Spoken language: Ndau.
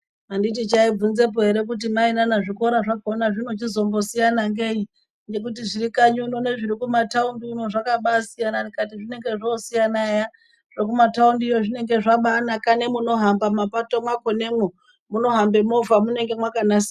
Anditi chaibvunzepo ere kuti mai nana zvikora zvakhona zvinochizombosiyana ngei ngekuti zviri kanyi uno nezviri kumathaundi uno zvakaba siyana, ndikati zvinenge zvoosiyana eya, zvekumathaundiyo zvinobaanaka nemunohamba mapato mwakhonemwo munohambe movha munenge mwakanasirwa.